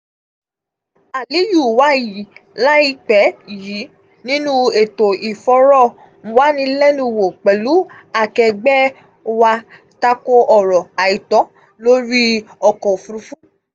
aliyu wàyí láìpẹ̀ yìí nínú ètò ìfọ̀rọwánílẹnúwò pẹ̀lú akẹẹgbẹ́ wa tako ọ̀rọ̀ àìtọ́ lórí ọkọ̀ òfurufú.